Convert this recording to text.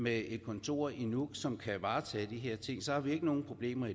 med et kontor i nuuk som kan varetage de her ting så har vi ingen problemer